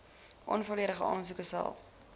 onvolledige aansoeke sal